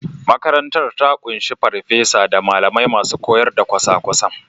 Makarantar ta ƙunshi farfesa da malamai masu koyar da kwasa-kwasan.